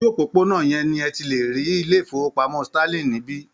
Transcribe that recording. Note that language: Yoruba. Ojú òpópónà yẹn ni ẹ ti lè rí ilé-ìfowópamọ́ Sterling níbí.